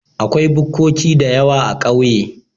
Akwai bukkoki dayawa a ƙauye